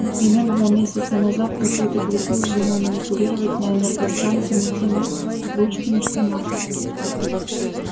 например два месяца назад какой-то кретин вздумал манипулировать на энергостанции не теми ручками что надо